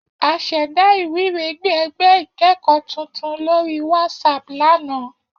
A ṣẹda iwiregbe ẹgbẹ ikẹkọ tuntun lori Whatsapp lana.